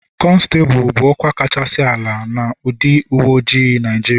Konstabulu bụ ọkwa kacha ala na ndị uwe ojii Naịjirịa.